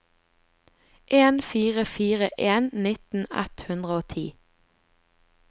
en fire fire en nitten ett hundre og ti